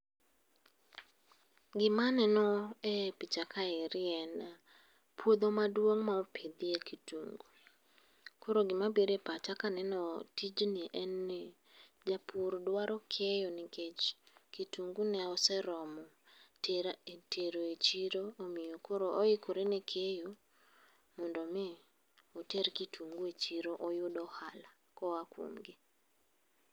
Gima aneno e picha kaeri en puodho maduong ma opidhe kitungu. Koro gima biro e pach aka aneno tijni en ni japur dwaro keyo nikech kitungu ne oseromo tera, tero e chiro omiyo koro oikore ne keyo mondo mii oter kitungu e chiro oyud ohala koa kuom gi